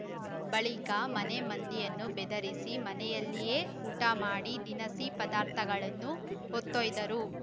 ಬಳಿಕ ಮನೆ ಮಂದಿಯನ್ನು ಬೆದರಿಸಿ ಮನೆಯಲ್ಲಿಯೇ ಊಟ ಮಾಡಿ ದಿನಸಿ ಪದಾರ್ಥಗಳನ್ನು ಹೊತ್ತೊಯ್ದಿದ್ದರು